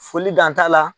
Foli danta la